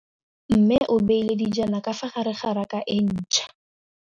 Mmê o beile dijana ka fa gare ga raka e ntšha.